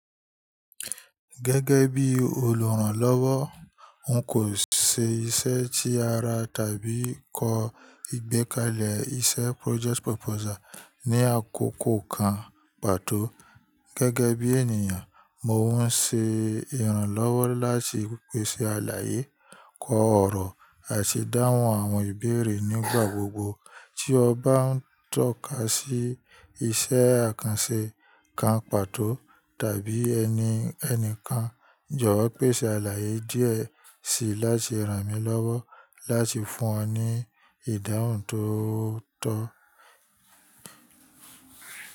Gẹ́gẹ́ bí olùrànlọ́wọ́, n kò ṣe iṣẹ́ tí ara tàbí kọ ìgbékalẹ̀ iṣẹ́ project proposal ní àkókò kan pàtó. Gẹ́gẹ́ bí ènìyàn, mò maa ń ṣe ìrànlọ́wọ́ láti pèsè àlàyé, kọ ọ̀rọ̀ àti dáhùn àwọn ìbéèrè nígbà gbogbo. Tí o bá ń tọ́ka sí iṣẹ́ àkànṣe kan pàtó tàbí ẹni ẹnikan, jọ̀wọ́ pèsè àlàyé díẹ̀ síi láti ràn mí lọ́wọ́ láti fún ọ ní ìdáhùn tó tọ́.